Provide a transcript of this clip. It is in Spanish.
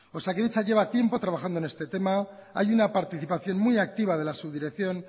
osakidetza lleva tiempo trabajando en este tema hay una participación muy activa de la subdirección